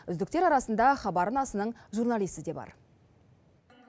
үздіктер арасында хабар арнасының журналисі де бар